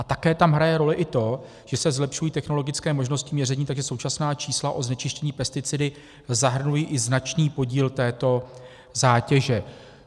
A také tam hraje roli i to, že se zlepšují technologické možnosti měření, takže současná čísla o znečištění pesticidy zahrnují i značný podíl této zátěže.